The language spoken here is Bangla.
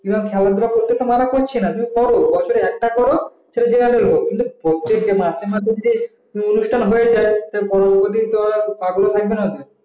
খেলাধুলা করতে মানা করছে না বছরে একটা করো প্রত্যেকদিন মাসে না মাসে যে অনুষ্ঠান হয়ে যায় তো পড়াশোনা হবে না